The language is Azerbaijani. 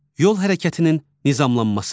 Yol hərəkətinin nizamlanması.